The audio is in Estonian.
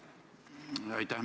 Aitäh!